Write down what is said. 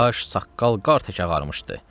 Baş, saqqal qartək ağarmışdı.